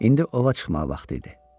İndi ova çıxmağa vaxtı idi.